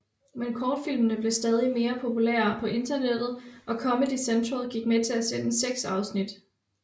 Men kortfilmene blev stadig mere populære på internettet og Comedy Central gik med til at sende seks afsnit